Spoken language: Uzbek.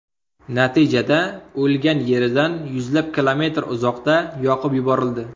Natijada o‘lgan yeridan yuzlab kilometr uzoqda yoqib yuborildi.